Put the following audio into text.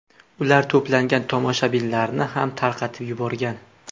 Ular to‘plangan tomoshabinlarni ham tarqatib yuborgan.